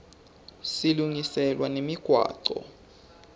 silungiselwa nemigwaco